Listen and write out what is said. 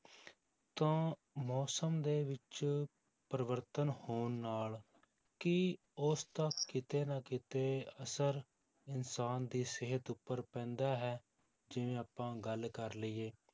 ਤਾਂ ਮੌਸਮ ਦੇ ਵਿੱਚ ਪਰਿਵਰਤਨ ਹੋਣ ਨਾਲ ਕੀ ਉਸਦਾ ਕਿਤੇ ਨਾ ਕਿਤੇ ਅਸਰ ਇਨਸਾਨ ਦੀ ਸਿਹਤ ਉੱਪਰ ਪੈਂਦਾ ਹੈ, ਜਿਵੇਂ ਆਪਾਂ ਗੱਲ ਕਰ ਲਈਏ,